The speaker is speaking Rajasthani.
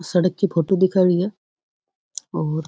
सड़क की फोटो दिखाई हुई है और --